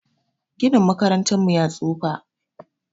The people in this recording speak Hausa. Ginin makarantar mu ya tsufa